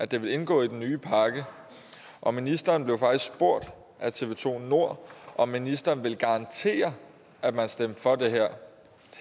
det ville indgå i den nye pakke og ministeren blev faktisk spurgt af tv to nord om ministeren ville garantere at man stemte for det her